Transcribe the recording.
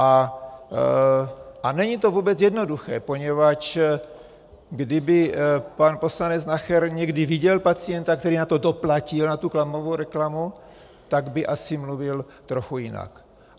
A není to vůbec jednoduché, poněvadž kdyby pan poslanec Nacher někdy viděl pacienta, který na to doplatil, na tu klamavou reklamu, tak by asi mluvil trochu jinak.